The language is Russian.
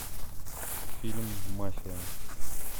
фильм мафия